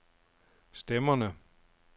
stemmerne